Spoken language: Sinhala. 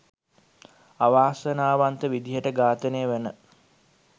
අවසනාවන්ත විදියට ඝාතනය වන